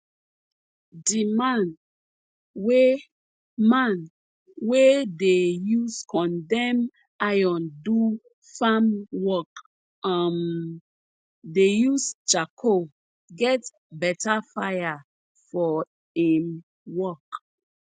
di man wey man wey dey use condemn iron do farm work um dey use charcoal get better fire for em work